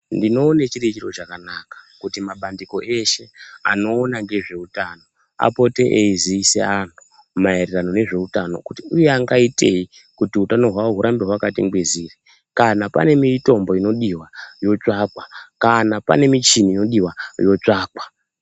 Ndinowone chiri chiro chakanaka kuti mabandiko eshe anowona ngezvewutano, apote eyizisa anhu mayererano nezvewutano kuti, uya angayiteyi kuti wutano wawo wurambe wakati ngwiziri. Kana panemitombo inodiwa yotsvakwa, kana panemichini inodiwa, yotsvakwa.